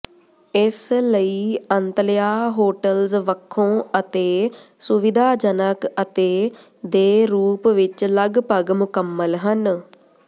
ਇਸ ਲਈ Antalya hotels ਵੱਖੋ ਅਤੇ ਸੁਵਿਧਾਜਨਕ ਅਤੇ ਦੇ ਰੂਪ ਵਿੱਚ ਲਗਭਗ ਮੁਕੰਮਲ ਹਨ